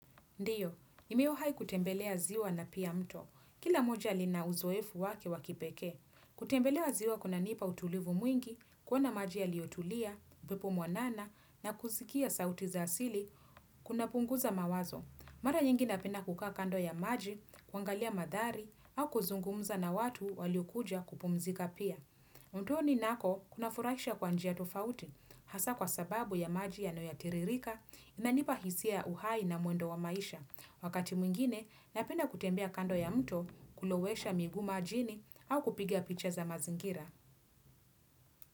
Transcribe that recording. Ndio, nimewahi kutembelea ziwa na pia mto. Kila moja lina uzoefu wake wa kipekee. Kutembelea ziwa kunanipa utulivu mwingi, kuona maji yaliyotulia, upepo mwanana, na kusikia sauti za asili, kunapunguza mawazo. Mara nyingi napenda kukaa kando ya maji, kuangalia mandhari, au kuzungumza na watu waliokuja kupumzika pia. Mtoni nako kunafurahisha kwa njia tofauti, hasa kwa sababu ya maji yanayotiririka, inanipa hisia ya uhai na mwendo wa maisha. Wakati mwingine, napenda kutembea kando ya mtu kulowesha miguu majini au kupiga picha za mazingira.